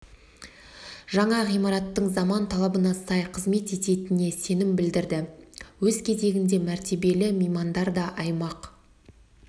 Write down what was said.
жаңа ғимараттың заман талабына сай қызмет ететініне сенім білдірді өз кезегінде мәртебелі меймандар да аймақ